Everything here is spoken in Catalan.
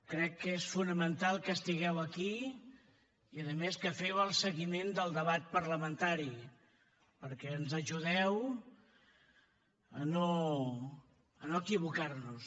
crec que és fonamental que estigueu aquí i a més que feu el seguiment del debat parlamentari perquè ens ajudeu a no equivocar nos